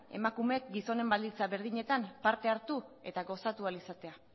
emakumeek gizonen baldintza berdinetan parte hartu eta gozatu ahal izatea